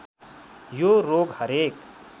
यो रोग हरेक